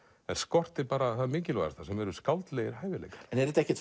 en skortir það mikilvægasta sem eru skáldlegir hæfileikar en er þetta ekkert